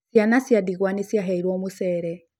Ciana cia ndigwa nĩ ciheirwo mũcere